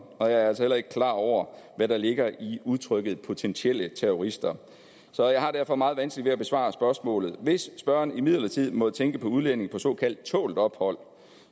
og jeg er altså heller ikke klar over hvad der ligger i udtrykket potentielle terrorister så jeg har derfor meget vanskeligt ved at besvare spørgsmålet hvis spørgeren imidlertid måtte tænke på udlændinge på såkaldt tålt ophold